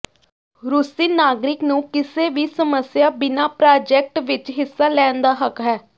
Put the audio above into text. ਰੂਸੀ ਨਾਗਰਿਕ ਨੂੰ ਕਿਸੇ ਵੀ ਸਮੱਸਿਆ ਬਿਨਾ ਪ੍ਰਾਜੈਕਟ ਵਿਚ ਹਿੱਸਾ ਲੈਣ ਦਾ ਹੱਕ ਹੈ